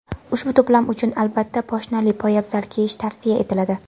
Ushbu to‘plam uchun, albatta, poshnali poyabzal kiyish tavsiya etiladi.